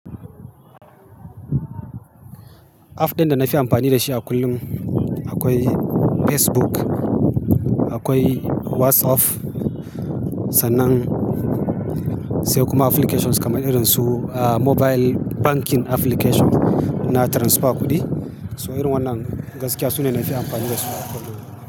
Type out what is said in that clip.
App din da na fi amfani da shi a kullum akwai Facebook, akwai WhatsApp, sannan sai kuma applications kamar irin su, ah, mobile banking application na transfer kuɗi. So irin wannan gaskiya su ne na zai amfani da su a kullum.